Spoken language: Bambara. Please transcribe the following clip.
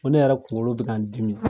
Ko ne yɛrɛ kunkolo be k'an dimi